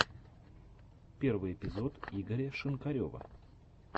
первый эпизод игоря шинкарева